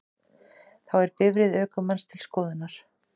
Þá er bifreið ökumanns til skoðunar